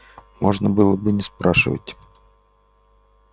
можно было бы не спрашивать